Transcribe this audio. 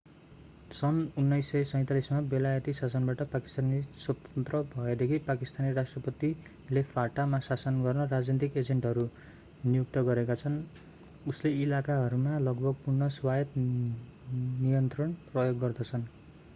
सन् 1947 मा बेलायती शासनबाट पाकिस्तान स्वतन्त्र भएदेखि पाकिस्तानी राष्ट्रपतिले fata मा शासन गर्न राजनीतिक एजेन्टहरू नियुक्त गरेका छन् जसले इलाकाहरूमा लगभग पूर्ण स्वायत्त नियन्त्रण प्रयोग गर्दछन्